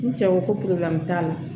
N cɛ ko ko t'a la